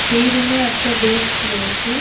সেই রুমে একটা ডেক্স-ক রয়েছে।